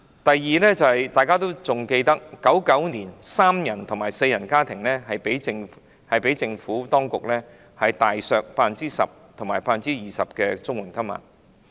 第二，大家應該還記得，政府當局於1999年將三人和四人家庭的綜援金額大幅削減 10% 及 20%。